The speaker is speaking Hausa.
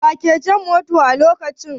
Wa ke jan motan a lokacin?